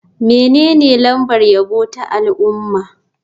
Menene lambar yabo ta al'umma?